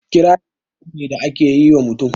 Kirari yabo ni da a ke yi ma mutum.